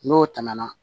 N'o tɛmɛna